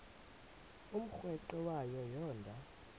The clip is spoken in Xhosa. umrweqe wayo yoonda